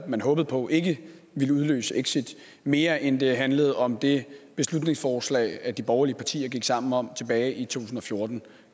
man håbede på ikke ville udløse et exit mere end det handlede om det beslutningsforslag de borgerlige partier gik sammen om tilbage i 2014